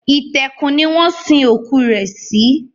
Itẹ́kù ni wọn sin òkú rẹ̀ sí